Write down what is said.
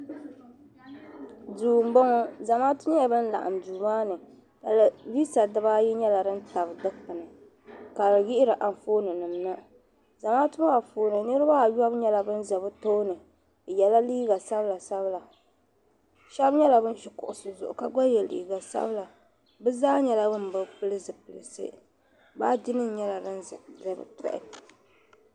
Duu m bo ŋɔ zamaatu nyela ban laɣim duu maa ni taliviisa dibaayi nyela din tabi dikpuni ka di yihiri anfooninim na zamaatu maa puni niriba ayɔbu nye ban za bi tooni bɛ yela liiga sabila sabila shɛbi nyela ban gba ʒe kuɣusi zuɣu ka ye liiga sabila bɛ zaa nyela ban bi pili zipilisi baaginima nyela din za bi tɔhini.